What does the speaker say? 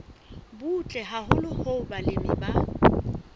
butle haholo hoo balemi ba